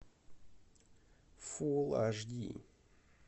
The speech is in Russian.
фулл аш ди